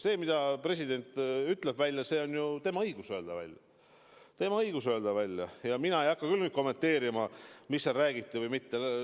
See, mida president välja ütleb – tal on õigus seda välja öelda ja mina ei hakka küll kommenteerima, mida seal räägiti või ei räägitud.